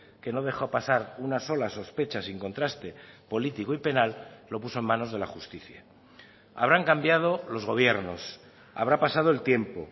que no dejó pasar una sola sospecha sin contraste político y penal lo puso en manos de la justicia habrán cambiado los gobiernos habrá pasado el tiempo